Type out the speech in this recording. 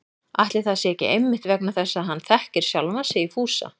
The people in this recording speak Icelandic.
Ætli það sé ekki einmitt vegna þess að hann þekkir sjálfan sig í Fúsa